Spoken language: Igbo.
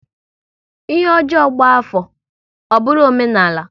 Ihe ọjọọ gba afọ, ọ bụrụ omenala